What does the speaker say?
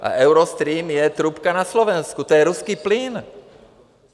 A Eustream je trubka na Slovensku, to je ruský plyn.